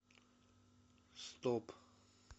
стоп